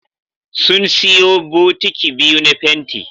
Sun siyo bukiti biyu na fenti